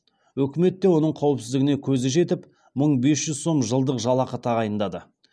өкімет те оның қауіпсіздігіне көзі жетіп мың бес жүз сом жылдық жалақы тағайындады